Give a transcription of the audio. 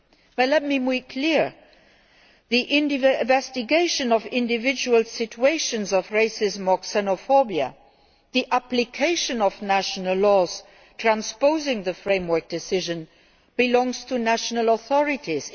But let me make clear that the investigation of individual situations of racism or xenophobia, the application of national laws transposing the framework decision, belongs to national authorities.